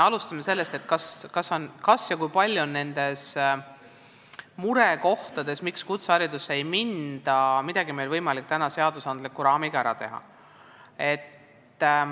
Alustame sellest, kas ja kui palju on meil võimalik seadusandliku raamiga ära teha selle murekoha kaotamiseks, miks kutseharidusse õppima ei minda.